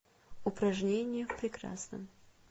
упражнения в прекрасном